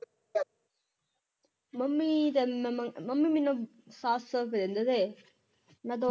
mummy ਤਿਨ mummy ਮੈਨੂੰ ਸਤ ਸੋ ਦੇ ਮੈਂ ਦੋ